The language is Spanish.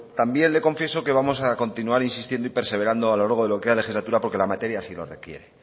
también le confieso que vamos a continuar insistiendo y perseverando a lo largo que queda de la legislatura porque la materia así lo requiere